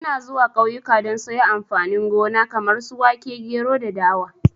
Ina zuwa kauyuka don sayo amfani gona kamar su wake, gero da dawa